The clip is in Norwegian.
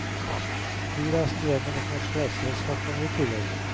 Flyreisen gjennom et norsk reiseselskap kommer i tillegg.